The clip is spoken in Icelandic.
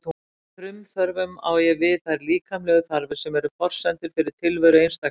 Með frumþörfum á ég við þær líkamlegu þarfir sem eru forsendur fyrir tilveru einstaklingsins.